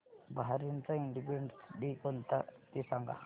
बहारीनचा independence day कोणता ते सांगा